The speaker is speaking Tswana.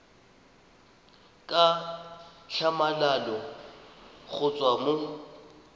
ka tlhamalalo go tswa mo